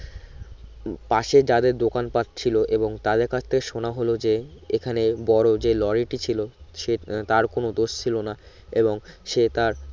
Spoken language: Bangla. পাশে যাদের দোকান পাট ছিলো এবং তাদের কাছে থেকে শোনা হল যে এখানে বড় যে লরিটি ছিলো সে তার কোনো দোষ ছিলো না এবং সে তার